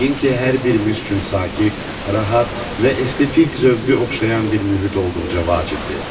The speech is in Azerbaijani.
Yəqin ki, hər birimiz üçün sakit, rahat və estetik zövqə oxşayan bir mühit olduqca vacibdir.